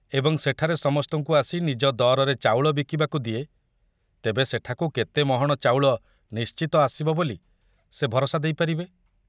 ଏବଂ ସେଠାରେ ସମସ୍ତଙ୍କୁ ଆସି ନିଜ ଦରରେ ଚାଉଳ ବିକିବାକୁ ଦିଏ, ତେବେ ସେଠାକୁ କେତେ ମହଣ ଚାଉଳ ନିଶ୍ଚିତ ଆସିବ ବୋଲି ସେ ଭରସା ଦେଇପାରିବେ?